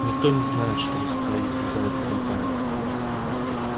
никто не знает что вы стоите за этой кампанией